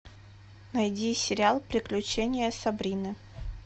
найди сериал приключения сабрины